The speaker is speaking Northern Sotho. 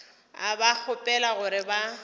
a ba kgopela gore ba